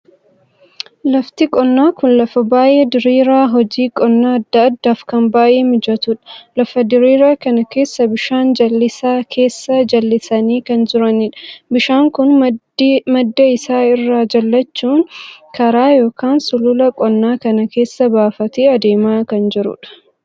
Lafti qonnaa kun lafa baay'ee diriiraa hojii qonnaa addaa addaaf kan baay'ee mijatuudha. lafa diriiraa kan keessa bishaan jallisaa keessa jallisanii kan jiraniidha. bishaan kun madda isaa irra jallachuun karaa ykn sulula qonnaa kana keessa baafatee adeemaa kan jiruudha.